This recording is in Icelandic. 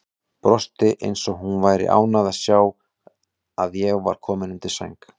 Brosti eins og hún væri ánægð að sjá að ég var kominn undir sæng.